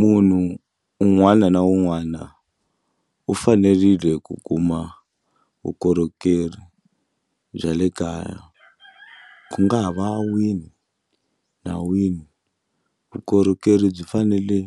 Munhu un'wana na un'wana u fanerile ku kuma vukorhokeri bya le kaya ku nga ha va wini na wini vukorhokeri byi fanele